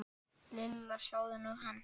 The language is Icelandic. Lilla, sjáðu nú hann.